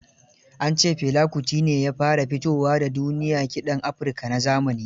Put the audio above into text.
An ce Fela Kuti ne ya fara fito wa da duniya kiɗan Africa na zamani.